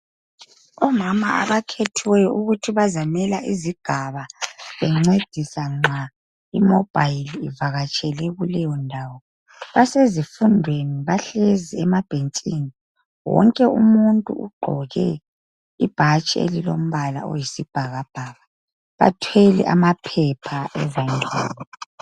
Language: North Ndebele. Omama abakhethiweyo ukuthi bazamela izigaba bencedisa nxa imobhayili ivakatshele kuleyo ndawo basezifundweni bahlezi emabhentshini wonke umuntu ugqoke ibhatshi elilombala oyisibhakabhaka, bathwele amaphepha ezandleni.